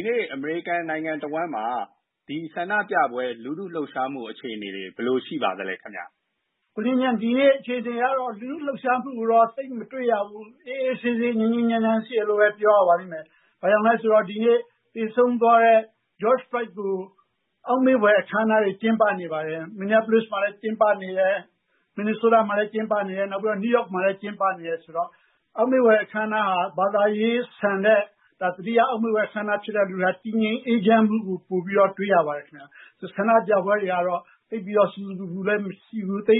ီနေ့ အမေရိကန် နိုင်ငံတဝှမ်းမှာ ဆန္ဒပြပွဲ လူထုလှုပ်ရှားမှု အခြေအနေတွေ ဘယ်လိုရှိပါသလဲ။ ဒီနေ့အခြေအနေကတော့ လူထုလှုပ်ရှားမှုကို သိပ်မတွေ့ရဘူး။ အေးအေးဆေးဆေး ငြိမ်းငြိမ်းချမ်းချမ်းရှိတယ်လို့ ပြောရပါလိမ့်မယ် ဘာကြောင့်လဲဆိုတော့ သေဆုံးသွားတဲ့ George Floyd အတွက် အောက်မေ့ဖွယ်အခမ်းအနားတွေ ကျင်းပနေပါတယ်။ Minneapolis မှာလည်း ကျင်းပနေတယ် Minnesota မှာလည်း ကျင်းပနေတယ် နောက်ပြီးတော့ New York မှာလည်း ကျင်းပနေတယ် ဆိုတော့ အောက်မေ့ဖွယ်အခမ်းအနားဟာ ဘာသာရေးဆန်တဲ့ သတိရ အောက်မေ့ဖွယ်အခမ်းအနားဖြစ်တဲ့အတွက် တည်ငြိမ်အေးချမ်းမှုကို ပိုပြီးတော့ တွေ့ရပါတယ်။ ဆန္ဒပြပွဲတွေကတော့ သိပ်ပြီးတော့ ဆူဆူပူပူလည်း မရှိဘူး ၊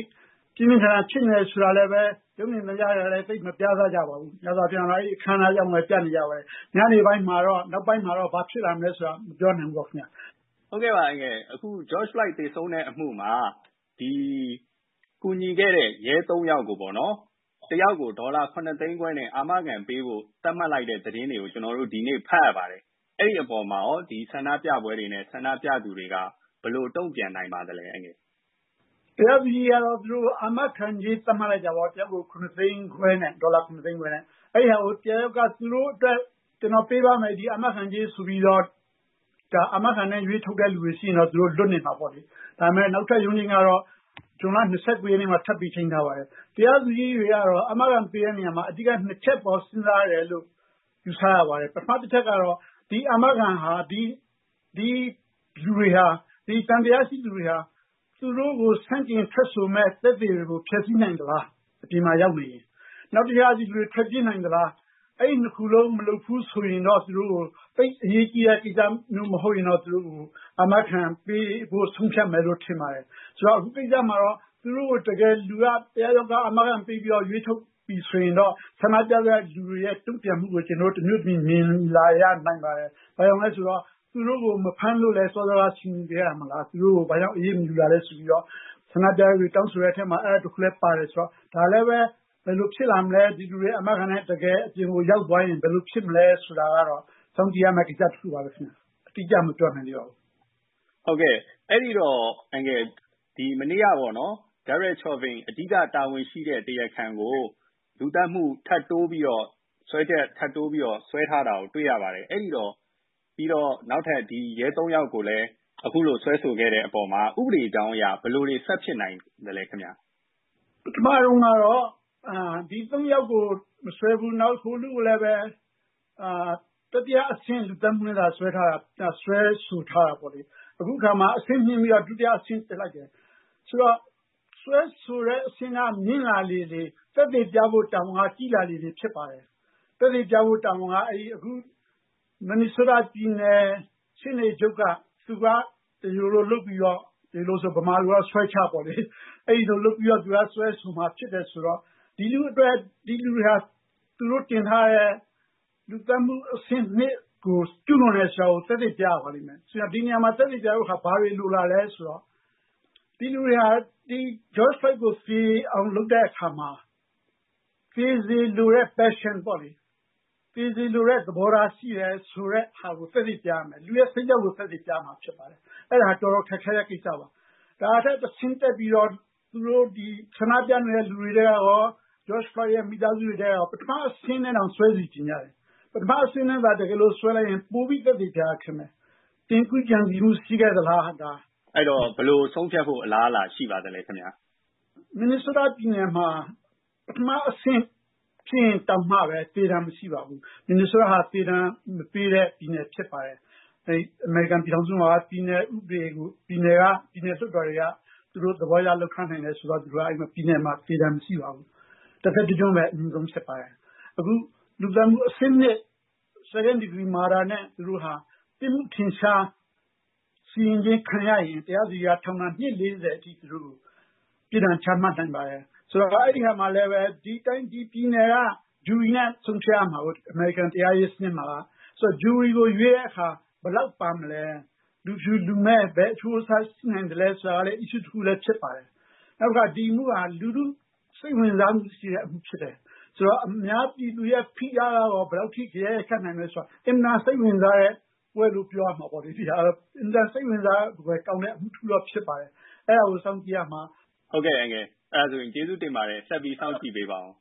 ပြင်းပြင်းထန်ထန် ဖြစ်နေတယ်ဆိုတာလည်း ရုပ်မြင်သံကြား တွေမှာလည်း မပြသပါဘူး။ များသောအားဖြင့် အခမ်းအနားအကြောင်းပါပဲ ။ ညနေ နောက်ပိုင်းမှာတော့ ဘာဖြစ်လာမလဲဆိုတာ မပြောနိုင်ဘူးပေါ့ခင်ဗျ။ George Floyd သေဆုံးတဲ့ အမှုမှာ ကူညီခဲ့တဲ့ ရဲ ၃ ယောက်ကို တယောက်ကို ဒေါ်လာ ၇ သိန်းခွဲနဲ့ အာမခံပေးဖို့ သတ်မှတ်လိုက်တဲ့သတင်းတွေကို ကျနော်တို့ ဒီနေ့ ဖတ်ရပါတယ်။ အဲဒီအပေါ်မှာ ဆန္ဒပြပွဲတွေနဲ့ ဆန္ဒပြသူတွေ ဘယ်လိုတုံ့ပြန်နိုင်ပါသလဲ။ တရားသူကြီးကတော့ အာမခံကြေး သတ်မှတ်လိုက်တာပေါ့ တယောက်ကို ဒေါ်လာ ၇ သိန်းခွဲနဲ့။ အဲဒါကို တယောက်ယောက်က သူတို့အတွက် ကျနော်ပေးပါ့မယ် ဒီအာမခံကြေးဆိုပြီးတော့ အာမခံနဲ့ ရွေးထုတ်တဲ့ လူတွေရှိရင်တော့ သူတို့ လွတ်နေမှာပေါ့လေ။ ဒါပေမယ့် နောက်ထပ်ရုံးချိန်းကတော့ဇွန်လ ၂၉ ရက်နေ့မှာ ထပ်ပြီးတော့ ချိန်းထားပါတယ်။ တရားသူကြီးတွေကတော့ အာမခံပေးတဲ့နေရာမှာ အဓိက ၂ ချက်အပေါ် စဉ်းစားတယ်လို့ ယူဆရပါတယ်။ ဒီသံသယရှိသူတွေဟာ သူတို့ကို ဆန့်ကျင်ထွက်ဆိုမယ့် သက်သေတွေကို ဖျက်ဆီးနိုင်သလား အပြင်မှာရောက်နေရင်၊ နောက် ဒီလူတွေ ထွက်ပြေးနိုင်သလား အဲဒီလို ၂ ခုမျိုးမလုပ်ဘူးဆိုရင်တော့ သူတို့ကို သိပ်အရေးကြီးတဲ့ ကိစ္စမဟုတ်ရင်တော့ သူတို့ကို အာမခံပေးဖို့ ဆုံးဖြတ်မယ်လို့ ထင်ပါတယ်။ ဆိုတော့ အခုကိစ္စမှာ သူတို့ကို တယောက်ယောက်က အာမခံပေးပြီးတော့ ရွေးထုတ်မယ်ဆိုရင် ဆန္ဒပြသူတွေရဲ့ တုံ့ပြန်မှုကို ကျနော်တို့ တမျိုးမြင်လာရနိုင်ပါတယ်။ ဘာကြောင့်လဲဆိုတော့ သူတို့ကို မဖမ်းလို့ စောစောကဆူပူခဲ့တာမလား ၊ သူတို့ကို ဘာကြောင့်အရေးမယူတာလဲဆိုပြီးတော့ ဆန္ဒပြသူတွေ တောင်းဆိုတဲ့အထဲမှာ အဲဒါတခုလည်း ပါတယ်ဆိုတော့။ ဒါလည်း ဘယ်လိုဖြစ်လာမလဲ ဒီလူတွေ အာမခံနဲ့ အပြင်ကို ရောက်သွားရင် ဘယ်လိုဖြစ်မလဲဆိုတာကတော့ စောင့်ကြည့်ရမယ့် ကိစ္စပါ အတိအကျ မပြောနိုင်သေးပါဘူး။ အဲဒီတော့ မနေ့က အဓိက တာဝန်ရှိတဲ့ Derek Chauvin ကို လူသတ်မှု ထပ်တိုးပြီးတော့ စွဲချက်တင်ထားတာ တွေ့ရပါတယ်။ အဲဒီတော့ ဒီနောက်ထပ် ရဲ ၃ ယောက်ကိုလည်း အခုလို စွဲဆိုခဲ့တဲ့အပေါ်မှာ ဥပဒေကြောင်းအရ ဘယ်လိုထပ်ဖြစ်နိုင်သလဲခင်ဗျ။ ပထမတုန်းကတော့ ဒီ ၃ ယောက်ကို မစွဲဘူး။ ဟိုလူကိုလည်း တတိယအဆင့် လူသတ်မှုနဲ့ စွဲထားတာဖြစ်တယ်။ အခုအခါမှာ အဆင့်မြှင့်ပြီးတော့ ဒုတိယအဆင့်တင်လိုက်တယ် ဆိုတော့ စွဲဆိုတဲ့ အဆင့်က မြင့်လာလေလေ ၊ သက်သေပြဖို့ တာဝန် ကြီးလာလေလေ ဖြစ်ပါတယ်။ သက်သေပြဖို့ တာဝန်က အခု Minnesota ပြည်နယ်ရှေ့နေချုပ်က တရားလိုလုပ်ပြီးတော့ သူက စွဲမှာဖြစ်တယ်ဆိုတော့ ဒီလူ့အတွက် သူတို့ တင်ထားတဲ့ လူသတ်မှုအဆင့် ၂ ကို ကျူးလွန်တယ်ဆိုတာကို သက်သေပြရပါလိမ့်မယ်။ ဒီနေရာမှာ သက်သေပြဖို့ ဘာတွေလိုလာသလဲဆိုတော့ဒီလူတွေဟာ George Floyd ကို သေအောင်လုပ်တဲ့အခါမှာ သေစေလိုတဲ့ သဘောထားရှိတယ်ဆိုတာကို သက်သေပြရမယ် အဲဒါက တော်တော်ခက်ခဲတဲ့ ကိစ္စပါ။ ဒီထက် တဆင့်တက်ပြီးတော့ ဆန္ဒပြနေတဲ့လူတွေရော၊ George Floyd မိသားစုဝင်တွေက ပထမအဆင့်နဲ့တောင် စွဲစေချင်တယ်။ ပထမအဆင့်နဲ့ စွဲလိုက်ရင် ပိုပြီးသက်သေပြရတာ ခက်မယ်။ ကြိုတင်ကြံစည်မှု ရှိခဲ့သလား။ အဲဒီတော့ ဘယ်လို ဆုံးဖြတ်ဖို့ အလားအလာရှိပါသလဲ။ Minnesota ပြည်နယ်မှာ ပထမအဆင့်ဖြစ်ရင်တောင် သေဒဏ်မရှိပါဘူး။ Minnesota ဟာ သေဒဏ်မပေးတဲ့ ပြည်နယ်ဖြစ်ပါတယ်။ အမေရိကန်ပြည်ထောင်စုမှာ ပြည်နယ်ဥပဒေကို ပြည်နယ် လွှတ်တော်တွေက သူတို့ သဘောအရ လုပ်ထားနိုင်တယ်ဆိုတော့ပြည်နယ်မှာ သေဒဏ်မရှိပါဘူး။ တသက်တကျွန်းပဲ အမြင့်ဆုံးဖြစ်ပါတယ်။ အခု လူသတ်မှု အဆင့် ၂ Second degree murder နဲ့ ပြစ်မှုထင်ရှား စီရင်ခြင်းခံရရင် တရားသူကြီးက ထောင်ဒဏ် အနှစ် ၄၀ အထိ ပြစ်ဒဏ်ချမှတ်နိုင်ပါတယ်။ ဆိုတော့ အဲဒီမှာလည်း ပြည်နယ် Jury နဲ့ ဆုံးဖြတ်ရမှာပါ အမေရိကန် တရားရေးစနစ်မှာက ဆိုတော့ Jury ကို ရွေးတဲ့အခါ ဘယ်လောက်ပါမလဲ ၊ လူဖြူ လူမဲ ဘယ်လိုအချိုးအစားရှိနိုင်ဆိုတာကလည်း issue တခုဖြစ်ပါတယ်။ နောက် ဒီအမှုဟာ လူထု စိတ်ဝင်စားတဲ့ အမှုဖြစ်တယ် ဆိုတော့ အများပြည်သူရဲ့ ဖိအားကရော ဘယ်လောက်ရိုက်ခတ်နိုင်မလဲဆိုတာ အင်မတန် စိတ်ဝင်စားဖွယ်ကောင်းတဲ့ အမှုတခုတော့ ဖြစ်ပါတယ် အဲဒါကို စောင့်ကြည့်ရမှာပါ။ ဟုတ်ကဲ့ ကျေးဇူးတင်ပါတယ် အန်ကယ် ၊ ဆက်ပြီးစောင့်ကြည့်ပေးပါဦး